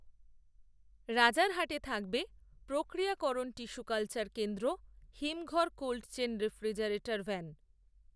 রাজারহাটে থাকবে প্রক্রিয়াকরণ tissue culture কেন্দ্র হিমঘর কোল্ডচেন রেফ্রিজারেটর ভ্যান